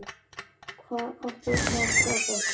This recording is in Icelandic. Hvað áttu marga bolta?